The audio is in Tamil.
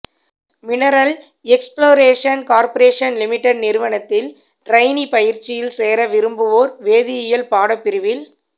மினரல் எக்ஸ்ப்லோரேஷன் கார்ப்ரேஷன் லிமிடெட் நிறுவனத்தில் டிரெய்னி பயிற்சியில் சேர விரும்புவோர் வேதியியல் பாடப்பிரிவில்